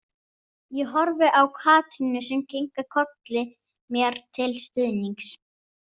Ég horfi á Katrínu sem kinkar kolli mér til stuðnings.